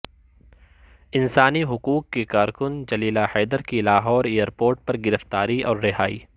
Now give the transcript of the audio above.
انسانی حقوق کی کارکن جلیلہ حیدر کی لاہور ایئر پورٹ پر گرفتاری اور رہائی